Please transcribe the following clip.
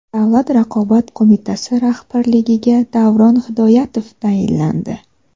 Davlat raqobat qo‘mitasi rahbarligiga Davron Hidoyatov tayinlandi.